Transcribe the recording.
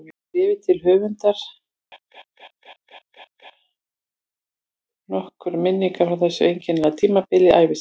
Í bréfi til höfundar rifjaði hann upp nokkrar minningar frá þessu einkennilega tímabili ævi sinnar